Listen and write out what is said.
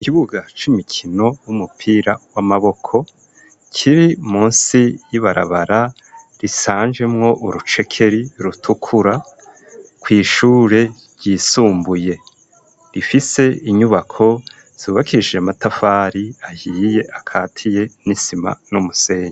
Ikibuga c'imikino w'umupira w'amaboko kiri munsi y'ibarabara risanje mwo urucekeri rutukura kw'ishure ryisumbuye rifise inyubako zubakishije amatafari ahiye akatiye n'isima n'umusenyi.